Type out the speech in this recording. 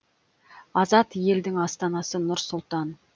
азат елдің астанасы нұр сұлтан